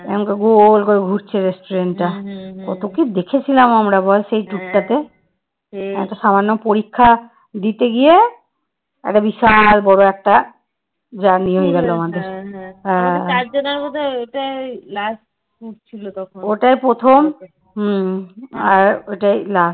ওইটাই প্রথম হম আর ওইটাই last